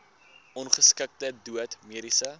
ongeskiktheid dood mediese